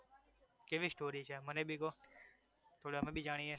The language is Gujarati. કેવી સ્ટોરી છે આમ મને ભી કો થોડુ અમે ભી જાણીએ